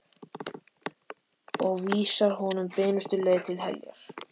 Og vísar honum beinustu leið til heljar.